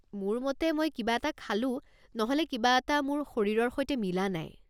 মোৰ মতে মই কিবা এটা খালোঁ নহ'লে কিবা এটা মোৰ শৰীৰৰ সৈতে মিলা নাই।